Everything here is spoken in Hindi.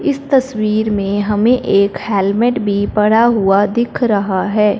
इस तस्वीर में हमें एक हेलमेट भी पड़ा हुआ दिख रहा है।